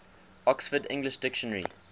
oxford english dictionary